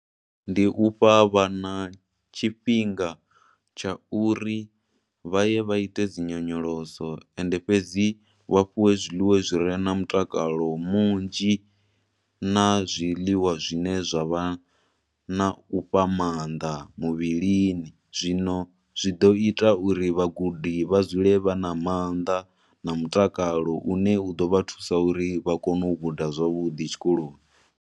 Ndi ufha vhana tshifhinga tsha uri vha ye vha ite dzinyonyoloso, ende fhedzi vha fhiwe zwiḽiwa zwire na mutakalo munzhi na zwiḽiwa zwine zwa vha na u fha maanḓa muvhilini. Zwino zwi ḓo ita uri vhagudi vha dzule vha na maanḓa na mutakalo une u ḓovha thusa uri vha kone u guda zwavhuḓi tshikoloni.